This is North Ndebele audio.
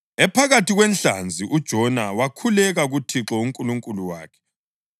Ephakathi kwenhlanzi uJona wakhuleka kuThixo uNkulunkulu wakhe.